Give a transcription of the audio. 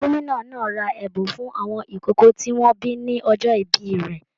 Gómìnà náà rà ẹbùn fún àwọn ìkókó tí wọn bí ní ọjọ ìbí rẹ.